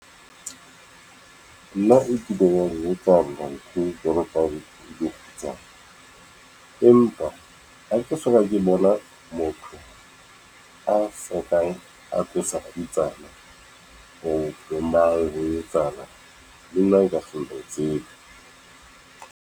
Nna e keileng ya ngetsahalla ntho jwalo ka ke le kgutsana, empa ha ke soka ke bona motho a sokang a tlosa kgutsana ho mang, ho etsahala, le nna .